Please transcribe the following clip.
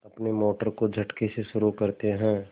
अपनी मोटर को झटके से शुरू करते हैं